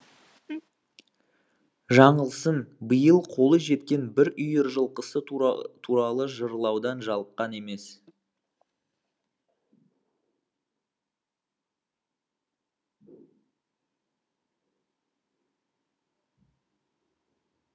жаңылсын биыл қолы жеткен бір үйір жылқысы туралы жырлаудан жалыққан емес